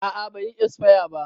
A'a bai yi esfaya ba